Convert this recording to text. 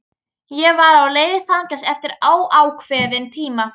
Ég var á leið í fangelsi eftir óákveðinn tíma.